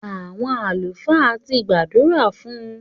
Àwọn àlùfáà ti gbàdúrà fún